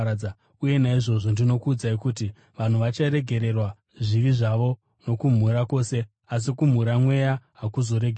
Uye naizvozvo ndinokuudzai kuti, vanhu vacharegererwa zvivi zvose nokumhura kwose asi kumhura Mweya hakuzoregererwi.